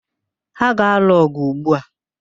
Ha ga-alụ ọ̀gụ̀ ugbu a.